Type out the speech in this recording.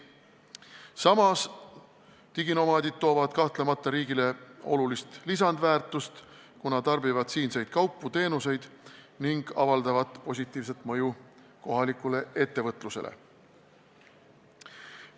Samas, diginomaadid toovad riigile kahtlemata olulist lisaväärtust, kuna nad tarbivad siinseid kaupu-teenuseid ning avaldavad positiivset mõju kohalikule ettevõtlusele.